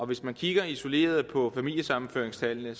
hvis man kigger isoleret på familiesammenføringstallene